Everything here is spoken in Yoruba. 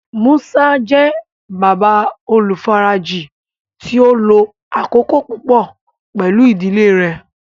Musa jẹ baba olufaraji ti o lo akoko pupọ pẹlu idile rẹ